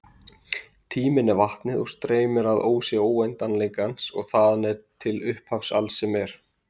Tíminn er vatnið og streymir að ósi óendanleikans og þaðan til upphafs alls sem er.